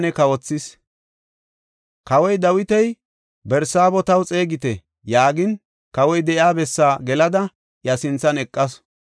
Kawoy Dawiti, “Barsaabo taw xeegite” yaagin kawoy de7iya bessaa gelada iya sinthan eqasu.